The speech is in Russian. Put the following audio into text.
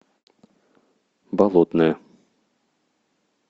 болотное